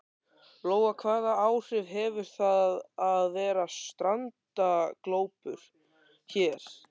Lóa: Hvaða áhrif hefur það að vera strandaglópur hér?